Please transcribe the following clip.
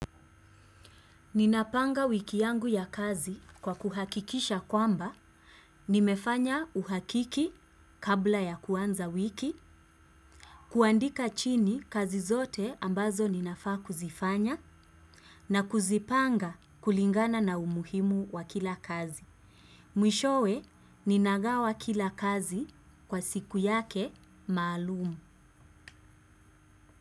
Ninaapanga wiki yangu ya kazi kwa kuhakikisha kwamba, nimefanya uhakiki kabla ya kuanza wiki, kuandika chini kazi zote ambazo ninafaa kuzifanya, na kuzipanga kulingana na umuhimu wa kila kazi. Mwishowe, ninagawa kila kazi kwa siku yake maalum.